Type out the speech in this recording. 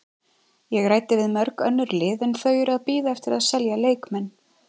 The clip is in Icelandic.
Ég ræddi við mörg önnur lið en þau eru að bíða eftir að selja leikmenn.